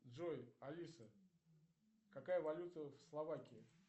джой алиса какая валюта в словакии